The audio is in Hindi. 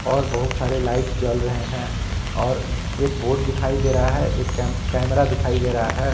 और बहुत सारे लाइट जल रहे हैं और एक बोर्ड दिखाई दे रहा है एक कैम कैमरा दिखाई दे रहा है।